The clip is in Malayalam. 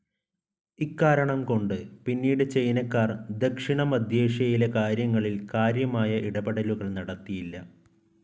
ഇക്കാരണം കൊണ്ട് പിന്നീട് ചൈനാക്കാർ ദക്ഷിണമധ്യേഷ്യയിലെ കാര്യങ്ങളിൽ കാര്യമായ ഇടപെടലുകൾ നടത്തിയില്ല.